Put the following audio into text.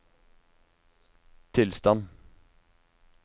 tilstand